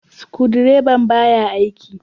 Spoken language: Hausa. Sukudireban baya aiki kuma.